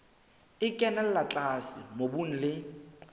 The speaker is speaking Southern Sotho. e kenella tlase mobung le